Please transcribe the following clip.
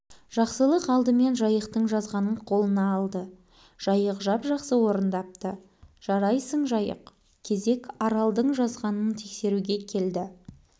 жақсылық алдымен жайықтың жазғанын қолына алды жайық жап-жақсы орындапты жарайсың жайық кезек аралдың жазғанын тексеруге келді